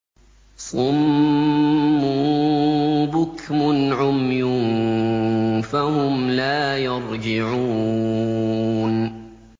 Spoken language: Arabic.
صُمٌّ بُكْمٌ عُمْيٌ فَهُمْ لَا يَرْجِعُونَ